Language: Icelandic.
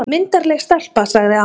Myndarleg stelpa, sagði amma.